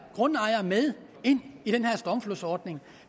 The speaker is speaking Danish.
grundejere med ind i den her stormflodsordning